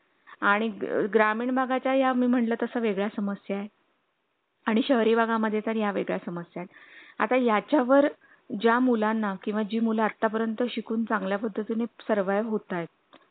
अगदी regular office झालेत चालू फक्त आता एव्हरी मोंडे टेस्ट होतात कोन भाहेरुन आलंय किंवा अठवड्याची सुट्टी असेल किंवा लाँग